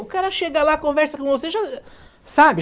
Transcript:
O cara chega lá, conversa com você já... sabe?